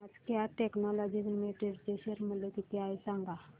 आज Cat Technologies Limited चे share चे मूल्य किती आहे सांगा